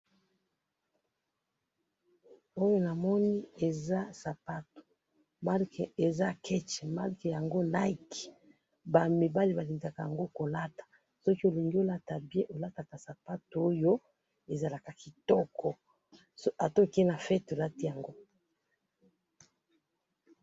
oyo namoni eza sapato marke eza ketch marke yango NIKE ba mibali balinga yango kolata soki olingi olata bien olataka sapato oyo ezalaka kitoko ata okeyi na fete olati yango.